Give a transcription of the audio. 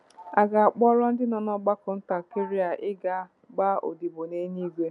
A ga-akpọrọ ndị nọ n'ọgbakọ ntakịrị a ịga gbaa odibo n’eluigwe.